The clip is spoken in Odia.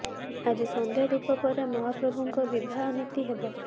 ଆଜି ସନ୍ଧ୍ୟା ଧୂପ ପରେ ମହାପ୍ରଭୁଙ୍କ ବିବାହ ନୀତି ହେବ